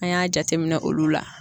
An y'a jate minɛ olu la.